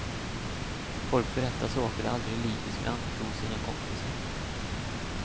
Folk berättar saker de aldrig i livet skulle anförtro sina kompisar.